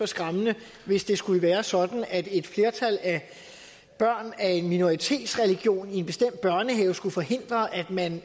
skræmmende hvis det skulle være sådan at et flertal af børn af en minoritetsreligion i en bestemt børnehave skulle forhindre at man